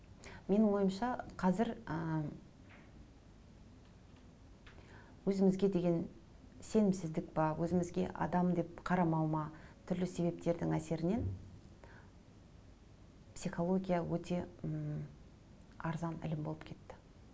менің ойымша қазір ы өзімізге деген сенімсіздік пе өзімізге адам деп қарамау ма түрлі себептердің әсерінен психология өте ммм арзан ілім болып кетті